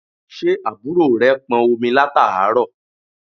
Ṣé àbúrò rẹ pọn omi láàárọ̀?